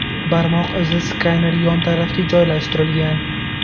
Barmoq izi skaneri yon tarafga joylashtirilgan.